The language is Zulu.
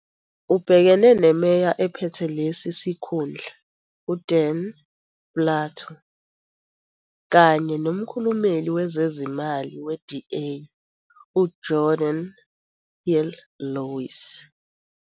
Ubhekene neMeya ephethe lesi sikhundla uDan Plato kanye nomkhulumeli wezezimali we-DA, uGeordin Hill-Lewis.